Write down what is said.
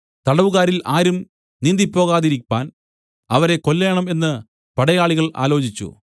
തടവുകാരിൽ ആരും നീന്തി ഓടിപ്പോകാതിരിപ്പാൻ അവരെ കൊല്ലേണം എന്ന് പടയാളികൾ ആലോചിച്ചു